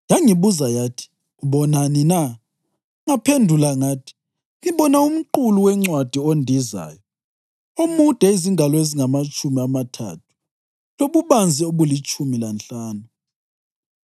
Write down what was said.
Yangibuza yathi, “Ubonani na?” Ngaphendula ngathi, “Ngibona umqulu wencwadi ondizayo, omude izingalo ezingamatshumi amathathu lobubanzi obulitshumi lanhlanu.”